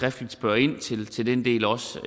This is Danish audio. at spørge ind til den del også